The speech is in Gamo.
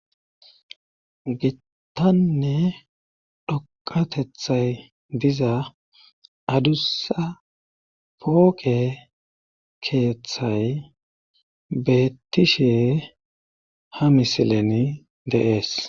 gittanne dhoqatethay diza adussa pooqe keeththay bettishe ha misileni de'ees